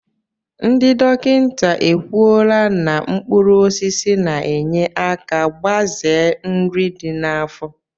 Ndị dọkịta ekwuola na mkpụrụosisi na-enye aka igbaze nri dị n'afọ